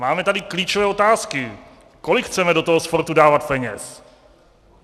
Máme tady klíčové otázky: Kolik chceme do toho sportu dávat peněz?